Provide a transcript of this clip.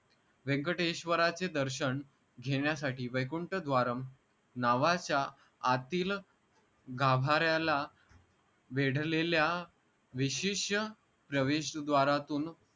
व्यंकटेश्वराचे दर्शन घेन्यासाठी वैकुंठ द्वारंम नावाच्या आतील गाभार्याला वेढलेल्या विशेष प्रवेश द्वारातून